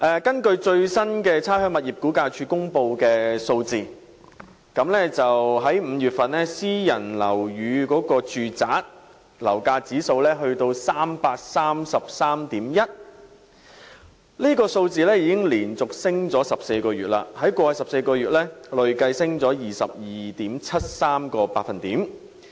根據差餉物業估價署公布的最新數字 ，5 月份私人住宅樓價指數為 333.1， 已經連續上升14個月，在過去14個月累計升了 22.73%。